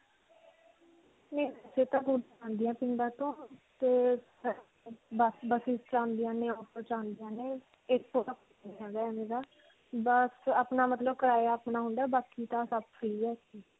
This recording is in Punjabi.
ਤੇ buses 'ਚ ਆਉਂਦੀਆਂ ਨੇ, auto 'ਚ ਆਉਂਦੀਆਂ ਨੇ ਬਸ ਅਪਣਾ ਮਤਲਬ ਕਰਾਇਆ ਅਪਣਾ ਹੁੰਦਾ ਹੈ. ਬਾਕੀ ਤਾਂ ਸਭ free ਹੈ.